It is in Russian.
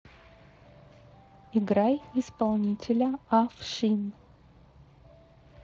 играй исполнителя афшин